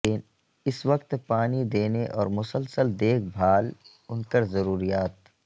اس وقت پانی دینے اور مسلسل دیکھ بھال انکر ضروریات